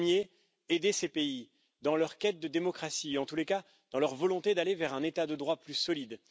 Premièrement, il faut aider ces pays dans leur quête de démocratie, en tous les cas, dans leur volonté d'aller vers un état de droit plus solide.